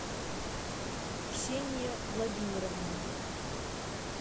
ксения владимировна